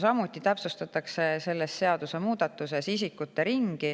Samuti täpsustatakse selle seadusemuudatusega isikute ringi,